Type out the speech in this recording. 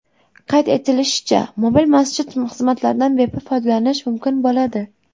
Qayd etilishicha, mobil masjid xizmatlaridan bepul foydalanish mumkin bo‘ladi.